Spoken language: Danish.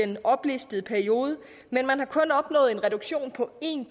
den oplistede periode men man har kun opnået en reduktion på en